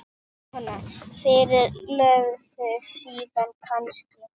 Jóhanna: Fyrir löngu síðan kannski?